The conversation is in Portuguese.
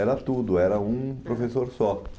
Era tudo, era um professor só.